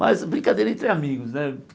Mas brincadeira entre amigos, né?